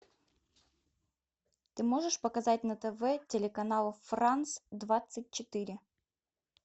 ты можешь показать на тв телеканал франс двадцать четыре